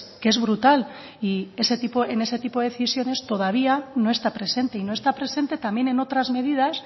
que es brutal y en ese tipo de decisiones todavía no está presente y no está presente también en otras medidas